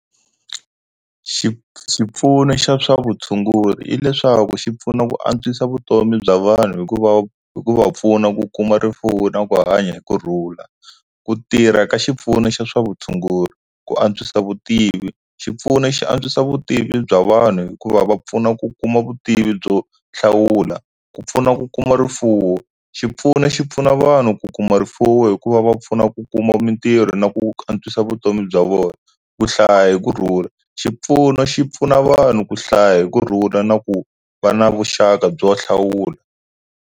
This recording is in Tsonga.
Xipfuno xa swa vutshunguri i leswaku xi pfuna ku antswisa vutomi bya vanhu hikuva hikuva pfuna ku kuma rifuwo na ku hanya hi kurhula ku tirha ka xipfuno xa swa vutshunguri ku antswisa vutivi xipfuno xi antswisa vutivi bya vanhu hikuva va pfuna ku kuma vutivi byo hlawula ku pfuna ku kuma rifuwo xipfuno xi pfuna vanhu ku kuma rifuwo ri hikuva va pfuna ku kuma mintirho na ku antswisa vutomi bya vona ku hlaya hi kurhula xipfuno xi pfuna vanhu ku hlaya hi kurhula na ku va na vuxaka byo hlawula.